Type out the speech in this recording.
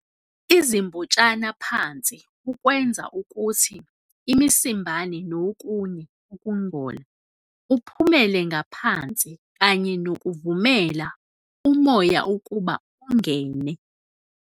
Izimbotshana phansi ukwenza ukuthi imisimbane nokunye ukungcola kuphumele ngaphansi kanye nokuvumela umoya ukuba ungene.